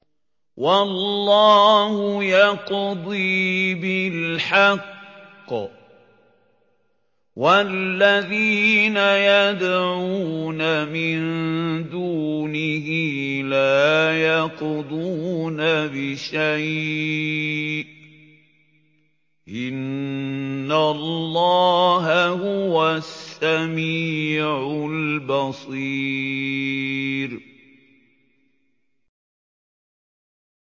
وَاللَّهُ يَقْضِي بِالْحَقِّ ۖ وَالَّذِينَ يَدْعُونَ مِن دُونِهِ لَا يَقْضُونَ بِشَيْءٍ ۗ إِنَّ اللَّهَ هُوَ السَّمِيعُ الْبَصِيرُ